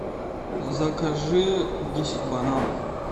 закажи десять бананов